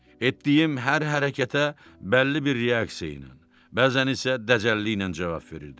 Etdiyim hər hərəkətə bəlli bir reaksiya ilə, bəzən isə dəcəlliklə cavab verirdi.